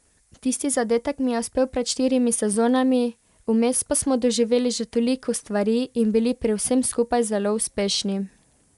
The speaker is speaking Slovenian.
Tisti zadetek mi je uspel pred štirimi sezonami, vmes pa smo doživeli že toliko stvari in bili pri vsem skupaj zelo uspešni.